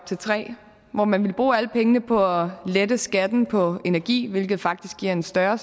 til tre hvor man ville bruge alle pengene på at lette skatten på energi hvilket faktisk giver en større